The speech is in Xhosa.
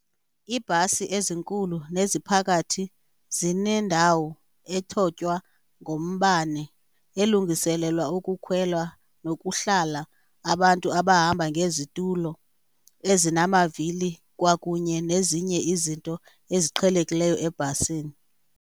Iibhasi ezinkulu neziphakathi zinendawo ethotywa ngombane elungiselelwa ukukhwela nokuhlala abantu abahamba ngezitulo ezinamavili kwakunye nezinye izinto eziqhelekileyo ebhasini.